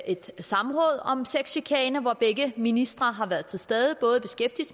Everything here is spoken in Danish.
et samråd om sexchikane hvor begge ministre har været til stede både